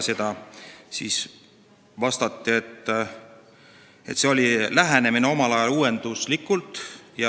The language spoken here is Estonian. Selle peale vastati, et omal ajal oli see uuenduslik lähenemine.